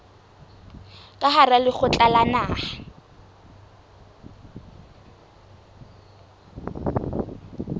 ka hara lekgotla la naha